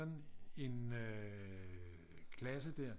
Sådan en øh klasse der